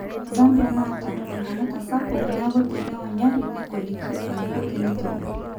Zambia nata enkongota sapuk niaku teneonyori negoliki eneiko teneitobir.